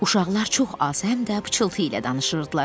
Uşaqlar çox az, həm də pıçıltı ilə danışırdılar.